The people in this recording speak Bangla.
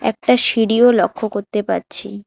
একটা সিঁড়িও লক্ষ করতে পারছি।